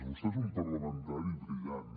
vostè és un parlamentari brillant